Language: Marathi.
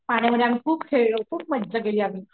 पाण्यामध्ये आम्ही खूप खेळलो खूप मज्जा केली आम्ही,